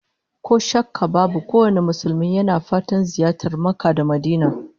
Ko shakka babu kowane Musulmi yana fatan ziyartar Makka da Madinah